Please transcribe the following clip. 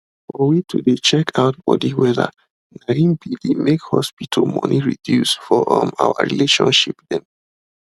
for we to de check out body wella na him be de make hospital money reduce for um our relationships them